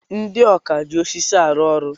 Ndị ọkà ji osisi arụ ọrụ.